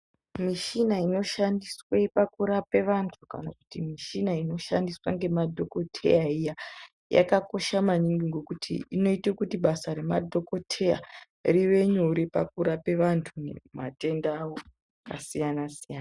Mushina inoshandiswa pakurapa vantu kana kuti mushina inoshandiswe ngemadhokodheya iya yakakosha maningi ngokuti inoite kuti basa remadhokodheya rive nyore pakurape vantu matenda avo akasiyana siyana.